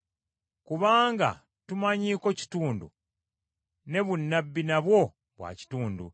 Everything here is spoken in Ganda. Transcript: Kubanga tumanyiiko kitundu, ne bunnabbi nabwo bwa kitundu.